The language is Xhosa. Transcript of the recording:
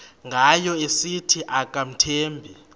ngayo esithi akamthembi